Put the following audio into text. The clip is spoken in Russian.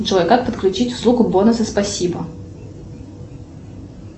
джой как подключить услугу бонусы спасибо